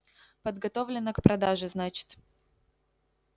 подготовлено к продаже значит